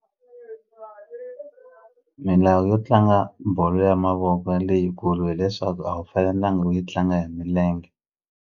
Milawu yo tlanga bolo ya mavoko leyikulu hileswaku a wu fanelangi u yi tlanga hi milenge.